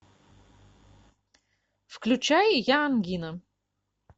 включай я ангина